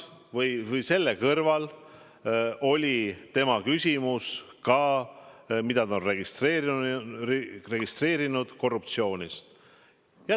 Selle kõrval oli tema küsimus ka, nagu ta oli registreerinud, korruptsiooni kohta.